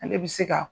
Ale bi se ka